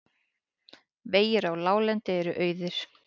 Vegir á láglendi eru auðir